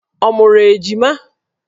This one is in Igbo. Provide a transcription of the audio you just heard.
Ọ mụrụ ejima?